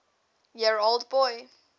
year old boy